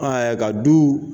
Aa ka du